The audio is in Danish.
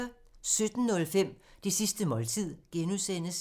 17:05: Det sidste måltid (G)